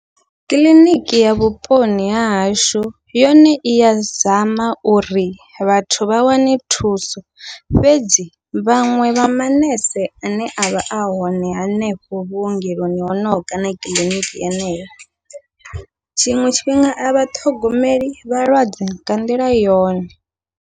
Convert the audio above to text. Kiḽiniki ya vhuponi hahashu yone iya zama uri vhathu vha wane thuso, fhedzi vhaṅwe vha maṋese ane avha a hone hanefho vhuongeloni honoho kana kiḽiniki yeneyo, tshiṅwe tshifhinga avha ṱhogomeli vhalwadze nga nḓila yone.